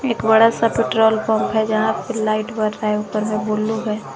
बड़ा सा petrol pump है जहां पे लाइट बर रहा है ऊपर से बुलू है।